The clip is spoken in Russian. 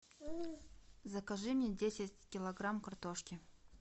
закажи мне десять килограмм картошки